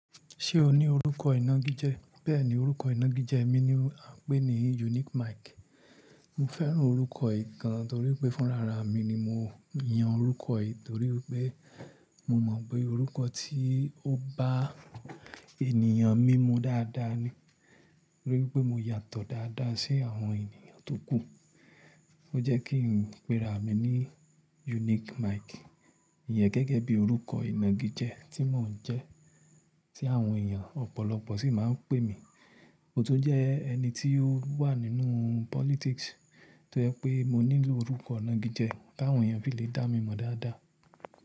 Ṣé o ní orúkọ ìnagijẹ? Bẹ́ẹ̀ni, orúkọ ìnagijẹ mi ni a ń pè ní Unique Mike. Mo fẹ́ràn orúkọ yìí gan, torí pé fún rara mi ni mo yan orúkọ yìí, torí pé mo mọ̀ pé orúkọ tí ó bá ènìyàn mímú dáadáa ni. Torí pé mo yàtọ̀ dáadáa sí àwọn ènìyàn tó kù. Ó jẹ́ kí n péra mi ní Unique Mike. Iyẹn gẹ́gẹ́ bí orúkọ ìnagijẹ tí mò ń jẹ́, tí àwọn èèyàn ọ̀pọ̀lọpọ̀ sì máa ń pè mi. Mo tún jẹ́ ẹni tí ó wà nínú politics, tó jẹ́ pé mo ní orúkọ ìnagijẹ kí àwọn èèyàn fi lè dá mi mọ̀ dáadáa.